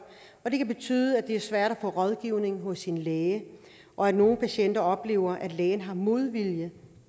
og det kan betyde at det er svært at få rådgivning hos en læge og at nogle patienter oplever at lægen har modvilje